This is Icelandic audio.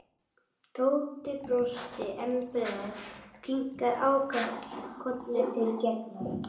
Tóti brosti enn breiðar og kinkaði ákaft kolli til Gerðar.